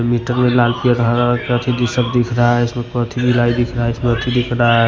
metre में लाल पीला हरा ये सब दिख रहा है इसमें दिख रहा--